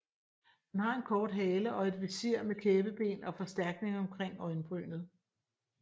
Den har en kort hale og et visir med kæbeben og forstærkning omkring øjebrynet